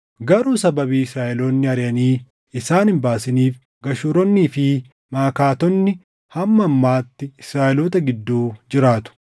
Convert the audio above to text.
Garuu sababii Israaʼeloonni ariʼanii isaan hin baasiniif Geshuuronnii fi Maʼakaatonni hamma ammaatti Israaʼeloota gidduu jiraatu.